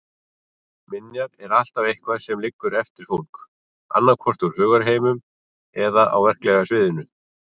Minjar er alltaf eitthvað sem liggur eftir fólk, annaðhvort úr hugarheiminum eða á verklega sviðinu.